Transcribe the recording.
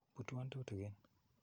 Putwon tutikin.